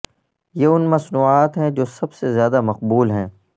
یہ ان مصنوعات ہیں جو سب سے زیادہ مقبول ہیں